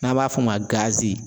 N'an b'a f'o ma